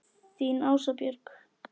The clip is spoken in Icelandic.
Þín Ása Björg.